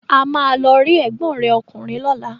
A máa lọ rí ẹ̀gbọ́n rẹ̀ ọkùnrin lọ́la.